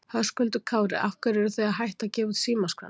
Höskuldur Kári: Af hverju eruð þið að hætta að gefa út símaskrána?